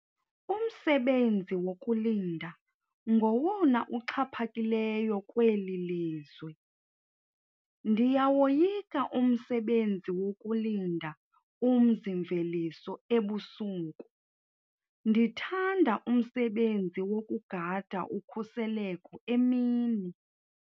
Umsebenzi wokulinda ngowona uxhaphakileyo kweli lizwe. ndiyawoyika umsebenzi wokulinda umzi mveliso ebusuku, ndithanda umsebenzi wokugada ukhuseleko emini